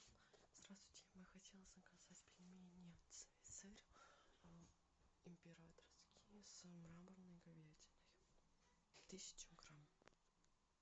здравствуйте я хотела заказать пельмени цезарь императорские с мраморной говядиной тысячу грамм